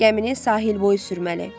Gəmini sahil boyu sürməli.